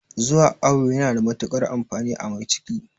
Zuwa awo yana da matuƙar amfani a mai ciki